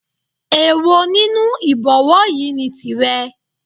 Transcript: Èwo nínú Ìbọ̀wọ́ yìí ni tìrẹ